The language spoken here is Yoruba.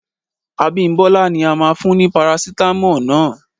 Abimbola ni a máa fún ní Parasitamọ́ọ̀ náà